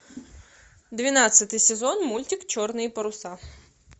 двенадцатый сезон мультик черные паруса